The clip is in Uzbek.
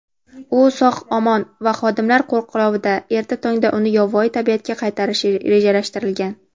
U sog‘-omon va xodimlar qo‘riqlovida. Erta tongdan uni yovvoyi tabiatga qaytarish rejalashtirilgan.